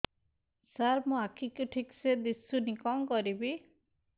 ସାର ମୋର ଆଖି କୁ ଠିକସେ ଦିଶୁନି କଣ କରିବି